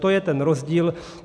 To je ten rozdíl.